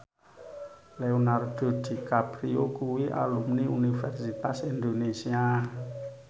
Leonardo DiCaprio kuwi alumni Universitas Indonesia